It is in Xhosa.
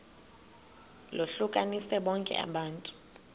lohlukanise bonke abantu